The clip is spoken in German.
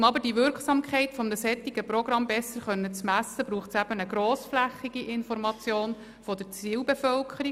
Um aber die Wirksamkeit eines solchen Programms besser messen zu können, braucht es eine grossflächige Information der Zielbevölkerung.